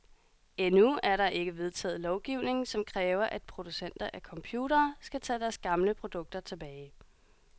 Endnu er der ikke vedtaget lovgivning, som kræver, at producenter af computere skal tage deres gamle produkter tilbage.